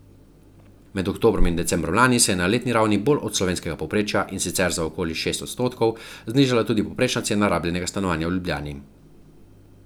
Med oktobrom in decembrom lani se je na letni ravni bolj od slovenskega povprečja, in sicer za okoli šest odstotkov, znižala tudi povprečna cena rabljenega stanovanja v Ljubljani.